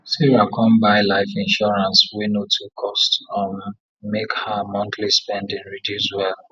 sarah come buy life insurance wey no too cost um make her monthly spending reduce well